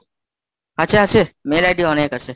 আছে আছে mail ID অনেক আছে।